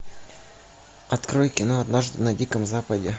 открой кино однажды на диком западе